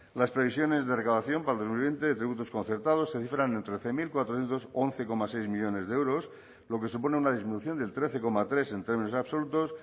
las previsiones de recaudación para el dos mil veinte de tributos concertados se cifran en trece mil cuatrocientos once coma seis millónes de euros lo que supone una disminución del trece coma tres en términos absolutos